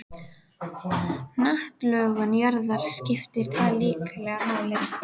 Hnattlögun jarðar skiptir þar líklega máli.